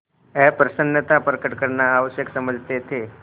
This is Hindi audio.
अप्रसन्नता प्रकट करना आवश्यक समझते थे